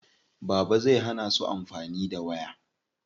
Baba zai hana su amfani da waya.